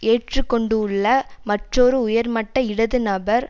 ஏற்று கொண்டுள்ள மற்றொரு உயர்மட்ட இடது நபர்